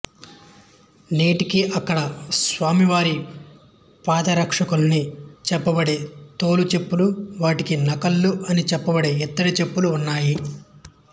నేటికీ ఇక్కడ స్వామివారి పాదరక్షలని చెప్పబడే తోలు చెప్పులు వాటికి నకళ్ళు అని చెప్పబడే ఇత్తడి చెప్పులూ ఉన్నాయి